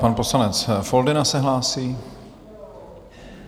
Pan poslanec Foldyna se hlásí.